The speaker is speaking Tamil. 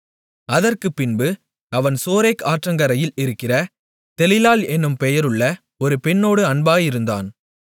அதற்குப்பின்பு அவன் சோரேக் ஆற்றங்கரையில் இருக்கிற தெலீலாள் என்னும் பெயருள்ள ஒரு பெண்ணோடு அன்பாயிருந்தான்